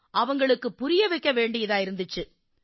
அவங்களுக்குப் புரிய வைக்க வேண்டியிருந்திச்சு